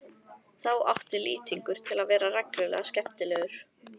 Þá átti Lýtingur til að vera reglulega skemmtilegur.